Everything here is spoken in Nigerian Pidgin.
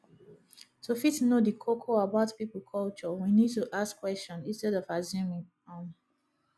to fit know di koko about pipo culture we need to ask question instead of assuming um